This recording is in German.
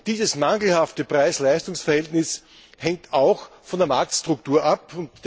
Und dieses mangelhafte Preis Leistungs Verhältnis hängt auch von der Marktstruktur ab.